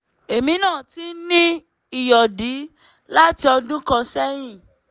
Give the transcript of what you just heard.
èmi náà ti ń ní ìyọ̀dí láti ọdún kan sẹ́yìn